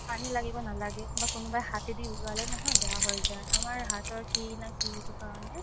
পানি লাগিব নালাগে বা কোনোবাই হাতে দি উলালে নহয় বেয়া হয় যাই আমাৰ হাতৰ কি না কি এইটো কাৰণে